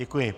Děkuji.